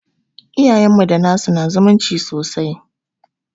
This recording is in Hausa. Iayenmu da nasu su na zumunci sosai